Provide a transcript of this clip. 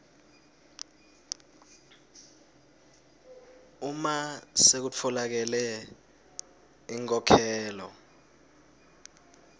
uma sekutfolakele inkhokhelo